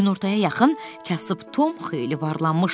Günortaya yaxın kasıb Tom xeyli varlanmışdı.